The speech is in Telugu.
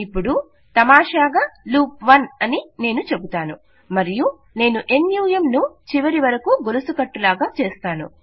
ఇపుడు తమాషగా లూప్ 1 అని నేను చెబుతాను మరియు నేను నమ్ ను చివరివరకొ గొలుసుకట్టు లాగా చేస్తాను